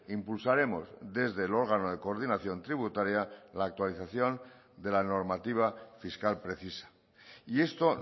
impulsaremos desde el órgano de coordinación tributaria la actualización de la normativa fiscal precisa y esto